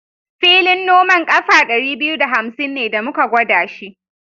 Filin noman ƙafa ɗari biyu da hamsin ne da muka gwada shi.